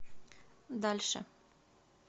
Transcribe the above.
дальше